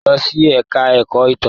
Lọ sí ẹ̀ka ẹ̀kọ́ ìtàn.